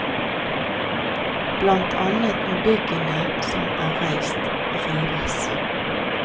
Blant annet må byggene som er reist, rives.